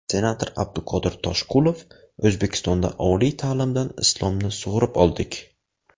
Senator Abduqodir Toshqulov: O‘zbekistonda oliy ta’limdan islomni sug‘urib oldik .